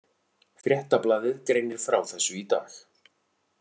Fréttablaðið greinir frá þessu í dag